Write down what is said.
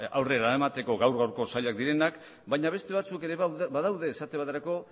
ba aurrera eramateko gaur gaurko zailak direnak baina beste batzuk ere badaude esate baterako